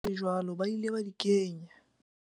Le ha hole jwalo ba ile ba di kenya.